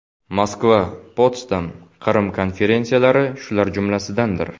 Moskva, Potsdam, Qrim konferensiyalari shular jumlasidandir.